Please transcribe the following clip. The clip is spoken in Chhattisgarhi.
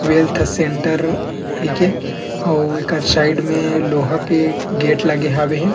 वेल्थ सेंटर कहिके अउर एकर साइड में लोहा के गेट लगे हवे ह --